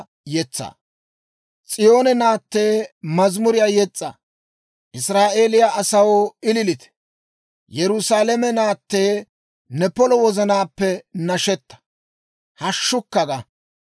S'iyoone naatee, mazamuriyaa yes's'a! Israa'eeliyaa asaw, ililite! Yerusaalame naatee, ne polo wozanaappe nashetta; hashshukka ga!